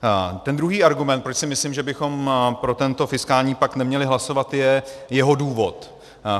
Ten druhý argument, proč si myslím, že bychom pro tento fiskální pakt neměli hlasovat, je jeho důvod.